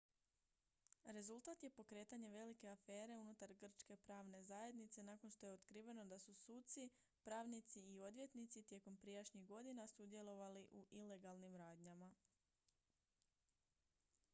rezultat je pokretanje velike afere unutar grčke pravne zajednice nakon što je otkriveno da su suci pravnici i odvjetnici tijekom prijašnjih godina sudjelovali u ilegalnim radnjama